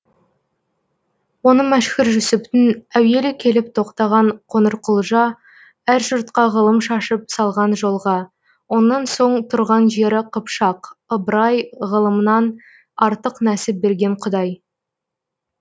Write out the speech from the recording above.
оны мәшһүр жүсіптің әуелі келіп тоқтаған қоңырқұлжа әр жұртқа ғылым шашып салған жолға онан соң тұрған жері қыпшақ ыбырай ғылымнан артық нәсіп берген құдай